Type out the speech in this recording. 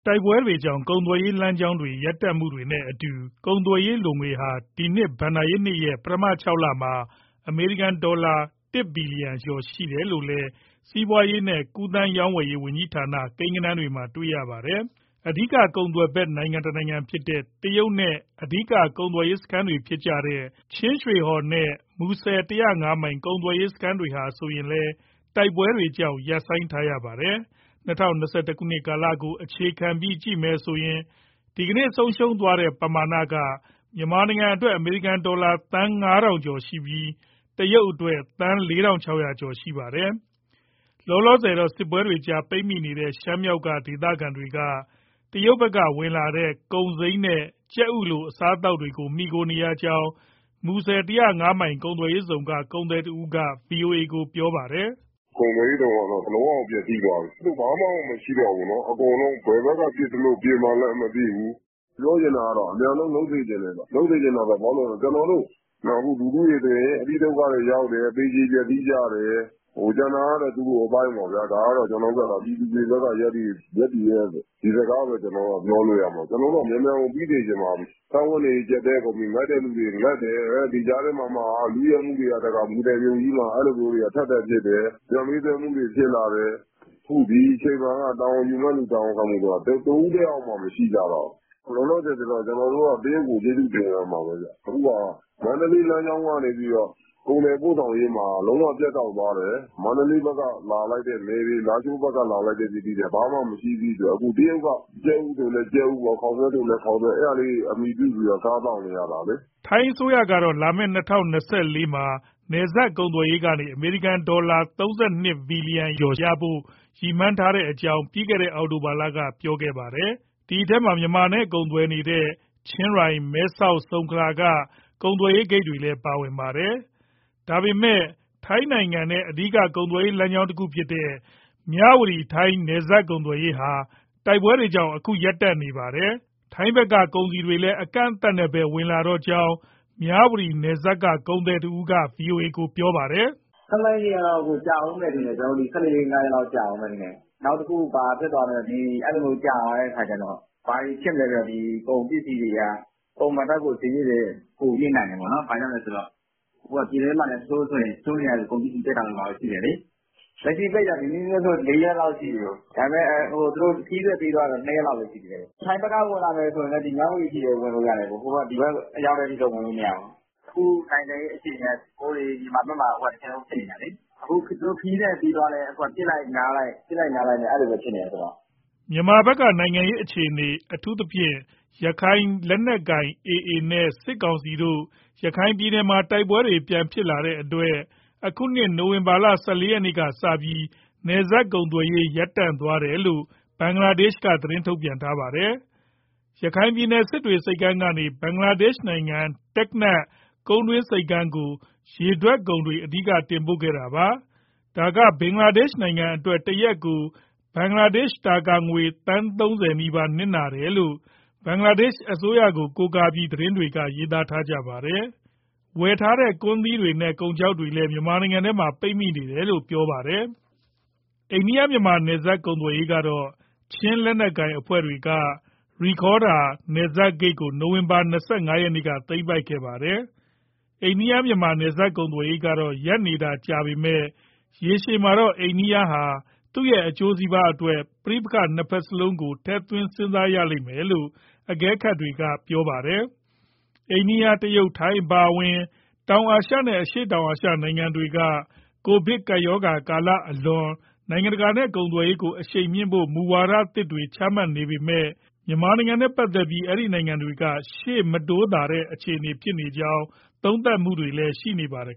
တိုက်ပွဲတွေကြောင့် ကုန်သွယ်ရေး လမ်းကြောင်းတွေ ရပ်တန့်မှုတွေနဲ့အတူ ကုန်သွယ်ရေးလိုငွေဟာ ဒီနှစ်ဘဏ္ဍာနှစ်ရဲ့ ပထမ ၆ လမှာ အမေရိကန်ဒေါ်လာ ၁ ဘီလီယံကျော် ရှိတယ်လို့လည်း စီးပွားရေးနဲ့ ကူးသန်းရောင်းဝယ်ရေး ဝန်ကြီးဌာန ကိန်းဂဏန်းတွေမှာ တွေ့ရပါတယ်။ အဓိက ကုန်သွယ်ဖက် နိုင်ငံတနိုင်ငံဖြစ်တဲ့ တရုတ်နဲ့ အဓိက ကုန်သွယ်ရေးစခန်းတွေဖြစ်တဲ့ ချင်းရွှေဟော်နဲ့ မူဆယ် ၁၀၅ မိုင် ကုန်သွယ်ရေး စခန်းတွေဟာ ဆိုရင်လည်း တိုက်ပွဲတွေကြောင့် ရပ်ဆိုင်းထားရတာပါ။ ၂၀၂၁ ခုနှစ်ကာလကို အခြေခံပြီး ကြည့်မယ်ဆိုရင် ဒီကနေ ဆုံးရှုံးသွားတဲ့ ပမာဏက မြန်မာနိုင်ငံအတွက် အမေရိကန်ဒေါ်လာ သန်း ၅,၀၀၀ ကျော်ရှိပြီး၊ တရုတ်အတွက် သန်း ၄,၆၀၀ ကျော်ရှိပါတယ်။ လောလောဆယ်တော့ စစ်ပွဲကြားမှာ ပိတ်မိနေတဲ့ ရှမ်းမြောက်က ဒေသခံတွေက တရုတ်ကဝင်လာတဲ့ ကုန်စိမ်းနဲ့ ကြက်ဥလို အစားအသောက်တွေကို မှီခိုနေရကြောင်း မူဆယ် ၁၀၅ မိုင် ကုန်သွယ်ရေးဇုန်က ကုန်သည်တဦးက ဗွီအိုအေကို ပြောပါတယ်။ "ကုန်သွယ်ရေးဇုန်ကတော့ လုံးဝကို ပျက်စီးသွားပြီ၊ ဘာမှကို မရှိတော့ဘူး၊ ဘယ်ဘက်က ပစ်လို့ပစ်မှန်းလည်းမသိ။ ပြောချင်တာက အမြန်ဆုံးလုပ်စေချင်တယ်ဗျ၊ အခု လူထုတွေဆိုရင် အတိဒုက္ခတွေရောက်တယ်၊ သေကြေပျက်စီးကြတယ်၊ ကျန်တာကတော့ သူတို့အပိုင်းပေါ့ဗျာ ဒါကတော့ ကျနော်တို့ ပြည်သူတွေဘက်က ရပ်တည်တဲ့ ဒီစကားပဲ ပြောလို့ရမှာ။ ကျနော်တို့က မြန်မြန်ကို ပြီးစေချင်ပါပြီ။ စားဝတ်နေကြေး ကျပ်တည်းကုန်ပြီ၊ ငတ်တဲ့သူတွေငတ်တယ်၊ ဒီကြားထဲမှာ လုယက်မှုတွေက မူဆယ်မြို့ကြီးထဲမှာ ထပ်ထပ်ဖြစ်တယ်၊ ပြန်ပေးဆွဲမှုတွေ ဖြစ်လာတယ်။ ဒီအချိန်မှာ တာဝန်ယူမဲ့ တာဝန်ခံမဲ့သူ တဦးတယောက်မှ မရှိကြတော့ဘူး။ လောလောဆယ် တရုတ်ကို ကျေးဇူးတင်ရမှာပဲ အခု မန္တလေးလမ်းကြောင်းကနေ ကုန်သွယ်ပို့ဆောင်ရေး လုံးဝပြတ်တောက်သွားတယ်၊ မန္တလေး၊ လားရှိုးကလာတဲ့ ပစ္စည်းတွေက ဘာမှမရှိလို့ အခုတရုတ်က ကြက်ဥ၊ ခေါက်ဆွဲ အဲဒါလေးတွေ အမှီပြုပြီး စားသောက်နေရတာလေ။" ထိုင်းအစိုးရကတော့ လာမယ့်၂၀၂၄မှာ နယ်စပ်ကုန်သွယ်ရေးကနေ အမေရိကန်ဒေါ်လာ ၃၂ဘီလီယံကျော် ရဖို့ ရည်မှန်းထားကြောင်း ပြီးခဲ့တဲ့အောက်တိုဘာလက ပြောခဲ့ပါတယ်။ ဒီထဲမှာ မြန်မာနဲ့ကုန်သွယ်နေတဲ့ ချင်းရိုင်၊ မဲဆောက်၊ ဆုန်ခလာက ကုန်သွယ်ရေးဂိတ်တွေလည်း ပါပါတယ်။ ဒါပေမဲ့ ထိုင်းနိုင်ငံနဲ့ အဓိက ကုန်သွယ်ရေး လမ်းကြောင်းတခုဖြစ်တဲ့ မြဝတီ-ထိုင်း နယ်စပ်ကုန်သွယ်ရေးဟာ တိုက်ပွဲတွေကြောင့် အခု ရပ်တန့်နေပါတယ်။ ထိုင်းဘက်က ကုန်စည်တွေလည်း အကန့်အသတ်နဲ့ပဲ ဝင်တော့ကြောင်း မြဝတီနယ်စပ်က ကုန်သည်တဦးက ဗွီအိုအေကို ပြောပါတယ်။ " ခန့်မှန်းခြေကတော့ ကြာဦးမယ်၊ ၁၄- ၁၅လောက်ကြာဦးမယ်၊ အဲလိုကြာတဲ့အခါကြတော့ ကုန်ပစ္စည်းတွေက ပုံမှန်ထက်ကို ဈေးတွေလည်း ပိုမြင့်နိုင်တယ်၊ ဘာလို့လဲဆိုတော့ ပြည်တွင်းမှာလည်း တချို့နေရာတွေဆို ကုန်ပစ္စည်းပြတ်တာလည်း ရှိတယ်လေ။ လက်ရှိပိတ်တာ ဒီနေ့နဲ့ဆို ၄ရက်လောက်ရှိပြီ ဒါပေမဲ့ သူတို့ခရီးသည်ပေးသွားတာ ၂ရက်လောက်ပဲ ရှိသေးတယ် (လမ်းဟောင်းကနေ)။ ထိုင်းဘက်က (ကုန်) ဝင်လာမယ်ဆိုလည်း မြဝတီအထိပဲ ဝင်လို့ရတယ်၊ ဒီဘက်ရောက်တဲ့အထိ ဝင်လို့မရဘူး။ အခုနိုင်ငံရေး အခြေအနေနဲ့ ကိုယ်တွေ မြန်မာဘက်မှာ တချိန်လုံး ဖြစ်နေတာလေ။ အခု သူတို့ခရီးသည်ပေးသွားလည်း ပစ်လိုက်၊ နားလိုက် အဲလိုပဲ ဖြစ်နေတာဆိုတော့။" မြန်မာဘက်က နိုင်ငံရေး အခြေအနေ၊ အထူးသဖြင့် ရခိုင်လက်နက်ကိုင် AA နဲ့ စစ်ကောင်စီတို့ ရခိုင်မှာ တိုက်ပွဲပြန်ဖြစ်လာတဲ့အတွက် အခုနှစ် နိုဝင်ဘာလ ၁၄ရက်ကစပြီး နယ်စပ်ကုန်သွယ်ရေး ရပ်သွားတယ်လို့ ဘင်္ဂလားဒေ့ရှ်က သတင်းထုတ်ပြန်ထားပါတယ်။ ရခိုင်ပြည်နယ်၊ စစ်တွေဆိပ်ကမ်းကနေ ဘင်္ဂလားဒေ့ရှ်နိုင်ငံ Teknaf ကုန်းတွင်းဆိပ်ကမ်းကို ရေထွက်ကုန်တွေ အဓိက တင်ပို့ခဲ့တာပါ။ ဒါက ဘင်္ဂလားဒေ့ရှ်နိုင်ငံအတွက် တရက်ကို ဘင်္ဂလားတာကာငွေ သန်း၃၀နီးပါး နစ်နာနေတယ်လို့ ဘင်္ဂလားဒေ့ရှ် အစိုးရကို ကိုးကားပြီး သတင်းတွေက ရေးသာကြပါတယ်။ ဝယ်ထားတဲ့ကွမ်းသီးနဲ့ ကုန်ခြောက်တွေလည်း မြန်မာထဲမှာ ပိတ်မိနေတယ်လို့ ပြောပါတယ်။ အိန္ဒိယမြန်မာနယ်စပ်မှာတော့ ချင်းလက်နက်ကိုင်အဖွဲ့တွေက ရိဒ်ခေါဒါရ် နယ်စပ်ဂိတ်ကို နိုဝင်ဘာလ ၂၅ရက်က သိမ်းပိုက်ခဲ့ပါတယ်။ အိန္ဒိယမြန်မာ နယ်စပ်ကုန်သွယ်ရေးကတော့ ရပ်နေတာ ကြာပေမယ့် ရေရှည်မှာတော့ အိန္ဒိယဟာ သူ့ရဲ့အကျိုးစီးပွားအတွက် ပဋိပက္ခ နှစ်ဘက်စလုံးကို ထည့်သွင်းစဉ်းစားရလိမ့်မယ်လို့ အကဲခတ်တွေက ပြောပါတယ်။ အိန္ဒိယ၊ တရုတ်၊ ထိုင်း အပါအဝင် တောင်အာရှနဲ့ အရှေ့တောင်အာရှ နိုင်ငံတွေက ကိုဗစ်ကပ်ရောဂါ ကာလအလွန် နိုင်ငံတကာနဲ့ ကုန်သွယ်ရေကို အရှိန်မြှင့်ဖို့ မူဝါဒအသစ်တွေ ချမှတ်နေပေမဲ့ မြန်မာနိုင်ငံနဲ့ ပတ်သက်ပြီး ဒီနိုင်ငံတွေက ရှေ့မတိုးသာ ဖြစ်နေကြောင်း သုံးသပ်မှုတွေလည်း ရှိနေပါတယ်